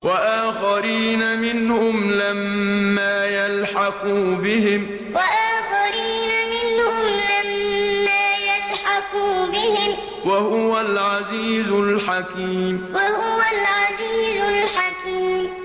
وَآخَرِينَ مِنْهُمْ لَمَّا يَلْحَقُوا بِهِمْ ۚ وَهُوَ الْعَزِيزُ الْحَكِيمُ وَآخَرِينَ مِنْهُمْ لَمَّا يَلْحَقُوا بِهِمْ ۚ وَهُوَ الْعَزِيزُ الْحَكِيمُ